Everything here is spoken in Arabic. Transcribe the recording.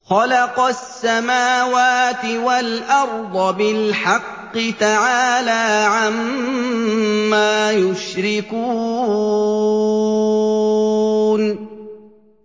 خَلَقَ السَّمَاوَاتِ وَالْأَرْضَ بِالْحَقِّ ۚ تَعَالَىٰ عَمَّا يُشْرِكُونَ